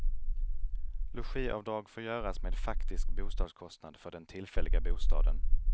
Logiavdrag får göras med faktisk bostadskostnad för den tillfälliga bostaden.